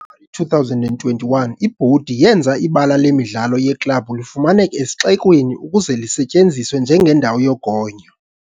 2021, ibhodi yenza ibala lemidlalo yeklabhu lifumaneke esixekweni ukuze lisetyenziswe njengendawo yogonyo.